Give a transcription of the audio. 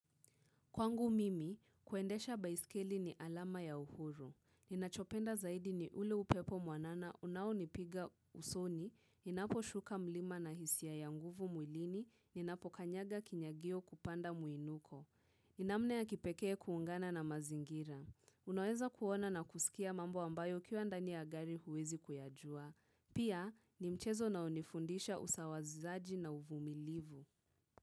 Kwangu mimi, kuendesha baiskeli ni alama ya uhuru. Ninachopenda zaidi ni ule upepo mwanana unao nipiga usoni, ninapo shuka mlima na hisia ya ya nguvu mwilini, ninapo kanyaga kinyagio kupanda muinuko. Namna ya kipekee kuungana na mazingira. Unaweza kuona na kusikia mambo ambayo ukiwa ndani ya gari huwezi kuyajua. Pia, ni mchezo unao nifundisha usawazaji na uvumilivu.